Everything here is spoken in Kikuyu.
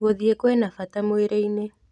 Gũthiĩkwĩna bata mwĩrĩ-inĩ.